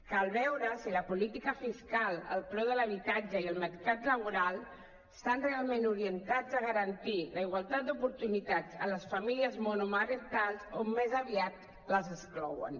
cal veure si la política fiscal el preu de l’habitatge i el mercat laboral estan realment orientats a garantir la igualtat d’oportunitats a les famílies monomarentals o més aviat les exclouen